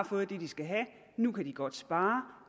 fået det de skal have nu kan de godt spare